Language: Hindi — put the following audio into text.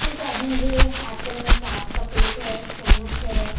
एक आदमी के हाथों मे चाट का प्लैट है चमच्च है |